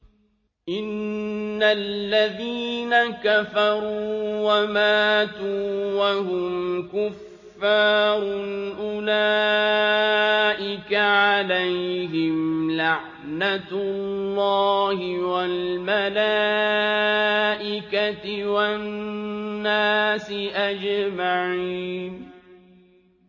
إِنَّ الَّذِينَ كَفَرُوا وَمَاتُوا وَهُمْ كُفَّارٌ أُولَٰئِكَ عَلَيْهِمْ لَعْنَةُ اللَّهِ وَالْمَلَائِكَةِ وَالنَّاسِ أَجْمَعِينَ